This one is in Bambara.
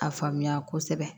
A faamuya kosɛbɛ